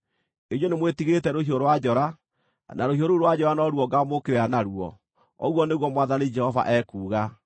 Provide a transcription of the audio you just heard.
Inyuĩ nĩmwĩtigĩrĩte rũhiũ rwa njora, na rũhiũ rũu rwa njora no ruo ngaamũũkĩrĩra naruo, ũguo nĩguo Mwathani Jehova ekuuga.